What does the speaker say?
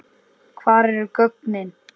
Hver eru gögnin?